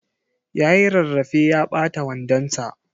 Yayi rarrafe ya ɓata wandon sa.